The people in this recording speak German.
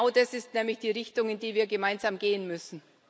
Genau das ist nämlich die Richtung, in die wir gemeinsam gehen müssen.